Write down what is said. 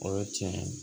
O ye tiɲɛ ye